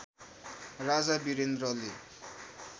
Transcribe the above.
राजा वीरेन्द्रले